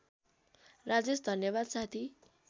राजेश धन्यवाद साथी